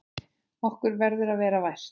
Okkur verður að vera vært!